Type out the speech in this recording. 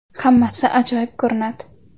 Hammasi ajoyib ko‘rinadi.